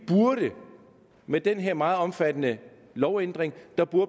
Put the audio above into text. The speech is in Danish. burde med den her meget omfattende lovændring